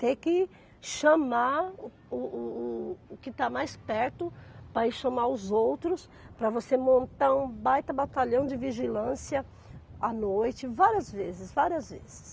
Ter que chamar o o o que está mais perto para ir chamar os outros, para você montar um baita batalhão de vigilância à noite, várias vezes, várias vezes.